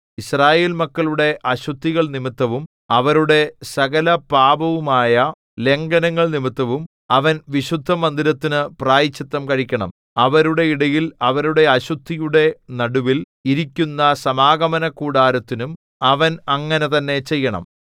യിസ്രായേൽ മക്കളുടെ അശുദ്ധികൾ നിമിത്തവും അവരുടെ സകലപാപവുമായ ലംഘനങ്ങൾ നിമിത്തവും അവൻ വിശുദ്ധമന്ദിരത്തിനു പ്രായശ്ചിത്തം കഴിക്കണം അവരുടെ ഇടയിൽ അവരുടെ അശുദ്ധിയുടെ നടുവിൽ ഇരിക്കുന്ന സമാഗമനകൂടാരത്തിനും അവൻ അങ്ങനെ തന്നെ ചെയ്യണം